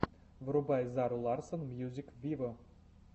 врубай зару ларсон мьюзик виво